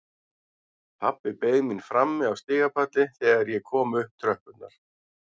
Pabbi beið mín frammi á stigapalli þegar ég kom upp tröppurnar.